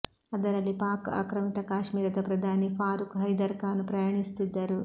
ಅದರಲ್ಲಿ ಪಾಕ್ ಆಕ್ರಮಿತ ಕಾಶ್ಮೀರದ ಪ್ರಧಾನಿ ಫಾರೂಕ್ ಹೈದರ್ ಖಾನ್ ಪ್ರಯಾಣಿಸುತ್ತಿದ್ದರು